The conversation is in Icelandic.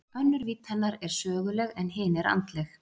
Önnur vídd hennar er söguleg en hin er andleg.